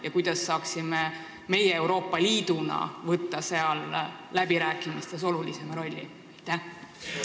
Ja kuidas saaksime meie Euroopa Liiduna nendes läbirääkimistes olulisemat rolli mängida?